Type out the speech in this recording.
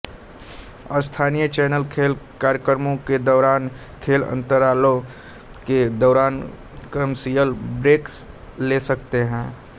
स्थानीय चैनल खेल कार्यक्रमों के दौरान खेल अंतरालों के दौरान कमर्शियल ब्रेक ले सकते हैं